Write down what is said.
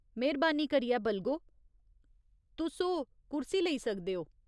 मेह्‌रबानी करियै, बलगो, तुस ओह् कुर्सी लेई सकदे ओ।